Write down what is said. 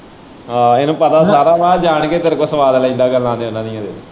ਆਹੋ ਇਹਨੂੰ ਪਤਾ ਸਾਰਾ ਵਾ ਜਾਣ ਕੇ ਤੇਰੇ ਕੋਲੇ ਸਵਾਦ ਲੈਂਦਾ ਗੱਲਾਂ .